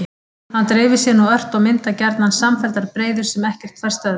Hann dreifir sér nú ört og myndar gjarnan samfelldar breiður sem ekkert fær stöðvað.